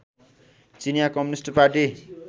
चिनिया communist party